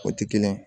O ti kelen ye